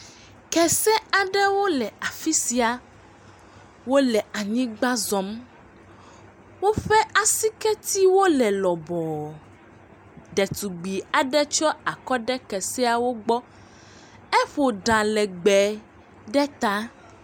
Kese aɖewo le afi sia, wole anyigba zɔm, woƒe asiketiwo le lɔbɔ, ɖetugbui aɖe tsɔ akɔ ɖe keseawo gbɔ, eƒo ɖa legbee ɖe ta.